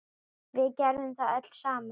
Við gerðum það öll saman.